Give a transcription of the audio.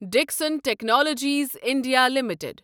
Dixon technologies India limited